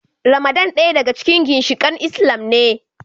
Ramadan daya daga cikin ginshikain Islam ne.